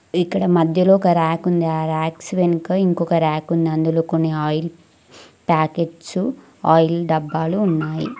ఇక్కడ మధ్యలో ఒక ర్యాకుంది ఆ ర్యాక్స్ వెనుక ఇంకొక ర్యాకుంది అందులో కొన్ని ఆయిల్ ప్యాకెట్సు ఆయిల్ డబ్బాలు ఉన్నాయి.